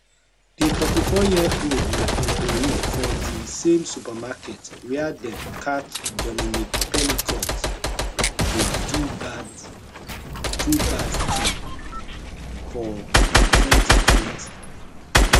di 44yearold na employee for di same supermarket wia dem catch dominique pelicot dey do bad do bad thing for 2020